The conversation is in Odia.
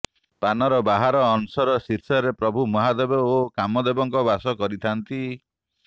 ପାନର ବାହାର ଅଂଶର ଶୀର୍ଷରେ ପ୍ରଭୁ ମହାଦେବ ଓ କାମଦେବଙ୍କ ବାସ କରିଥାଆନ୍ତି